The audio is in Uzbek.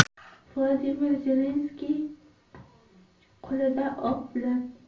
Vladimir Zelenskiy qo‘lida o‘q bilan.